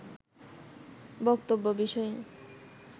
বক্তব্য বিষয়ে